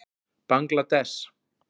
Bangladess